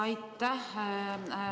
Aitäh!